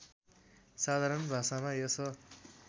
साधारण भाषामा यस